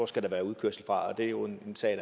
skal være udkørsel fra det er jo en sag